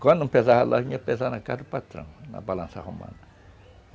Quando não pesava, a loja ia pesar na casa do patrão, na balança romana.